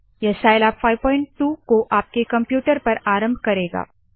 यह साइलैब 52 को आपके कंप्यूटर पर आरंभ करेगा